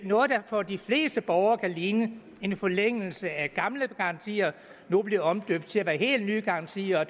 noget der for de fleste borgere kan ligne en forlængelse af gamle garantier nu bliver omdøbt til at være helt ny garantier og